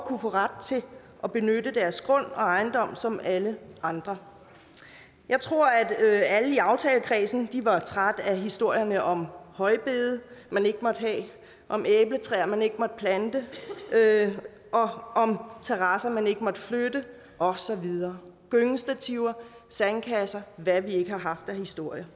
kunne få ret til at benytte deres grund og ejendom som alle andre jeg tror at alle i aftalekredsen var trætte af historierne om højbede man ikke måtte have om æbletræer man ikke måtte plante om terrasser man ikke måtte flytte og så videre gyngestativer sandkasser og hvad vi ikke har haft af historier